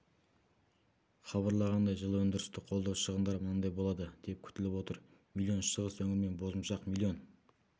хабарлағандай жылы өндірісті қолдау шығындары мынандай болады деп күтіліп отыр миллион шығыс өңір мен бозымшақ миллион